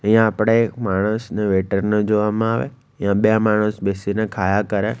અહીંયા આપણે માણસને વેટરને જોવામાં આવે ત્યાં બે માણસ બેસીને ખાયા કરે.